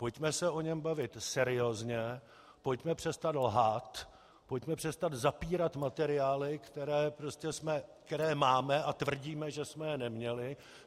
Pojďme se o něm bavit seriózně, pojďme přestat lhát, pojďme přestat zapírat materiály, které máme a tvrdíme, že jsme je neměli.